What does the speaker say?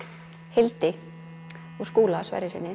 Hildi og Skúla Sverrissyni